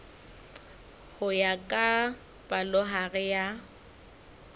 ho ya ka palohare ya